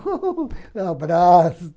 Um abraço.